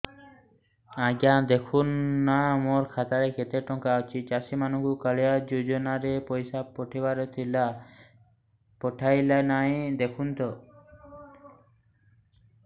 ଆଜ୍ଞା ଦେଖୁନ ନା ମୋର ଖାତାରେ କେତେ ଟଙ୍କା ଅଛି ଚାଷୀ ମାନଙ୍କୁ କାଳିଆ ଯୁଜୁନା ରେ ପଇସା ପଠେଇବାର ଥିଲା ପଠେଇଲା ନା ନାଇଁ ଦେଖୁନ ତ